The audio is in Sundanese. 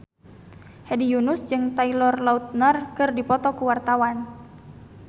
Hedi Yunus jeung Taylor Lautner keur dipoto ku wartawan